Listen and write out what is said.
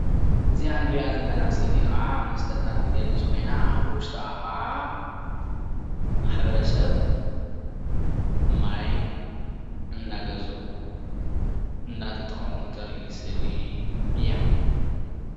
እዚኣ እንሪኣ ዘለና ስእሊ ከዓ መስተታት እትገልፅ ኮይና ብውሽጣ ከዓ ማሕበረሰብ ማይ እንዳገዝኡ፣ እንዳተጠቐሙ እተርእይ ስእሊ እያ፡፡